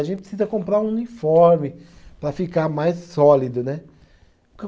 A gente precisa comprar um uniforme para ficar mais sólido, né?